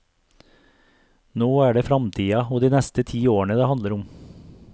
Nå er det framtida og de neste ti årene det handler om.